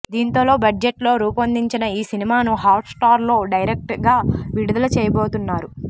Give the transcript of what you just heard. దీంతో లో బడ్జెట్ లో రూపొందిన ఈ సినిమాను హాట్ స్టార్ లో డైరెక్ట్ గా విడుదల చేయబోతున్నారు